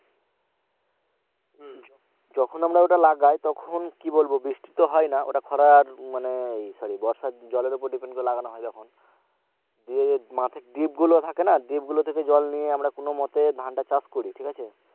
যখন আমরা ওটা লাগাই তখন কি বলবো বৃষ্টি তো হয়না ওটা খরার মানে এই sorry বর্ষার জলের ওপর depend করে লাগানো হয় যখন দিয়ে মাঠে dip গুলো থাকে না dip গুলো থেকে জল নিয়ে আমরা কোন মতে ধানটা চাষ করি ঠিক আছে?